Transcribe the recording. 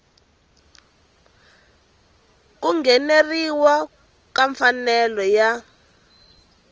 ku ngheneleriwa ka mfanelo yo